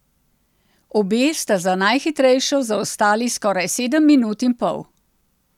Obe sta za najhitrejšo zaostali skoraj sedem minut in pol.